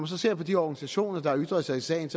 så ser på de organisationer der har ytret sig i sagen